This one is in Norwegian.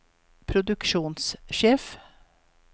produksjonssjef